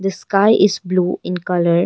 The sky is blue in colour.